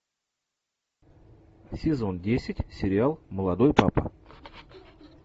сезон десять сериал молодой папа